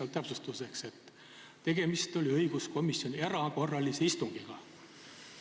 Lisan täpsustuseks, et tegemist oli õiguskomisjoni erakorralise istungiga.